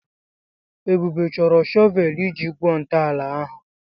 Ebube chọrọ shọvel iji gwuo ntọala ahụ.